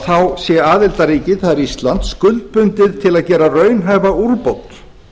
þá sé aðildarríkið það er ísland skuldbundið til að gera raunhæfa úrbót